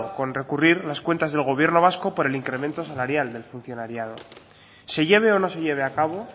con recurrir las cuentas del gobierno vasco por el incremento salarial del funcionariado se lleve o no se lleve a cabo